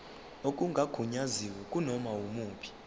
okungagunyaziwe kunoma yimuphi